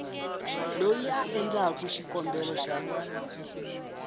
loyi a endlaku xikombelo xa